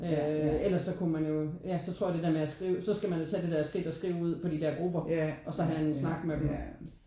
Øh ellers så kunne man jo ja så tror jeg det der med at skrive så skal man jo tage det der skridt og skrive ud på de der grupper og så have en snak med dem